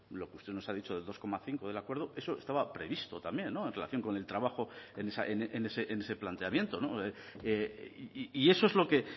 lo que usted nos ha dicho de dos coma cinco del acuerdo eso estaba previsto también en relación con el trabajo en ese planteamiento y eso es lo que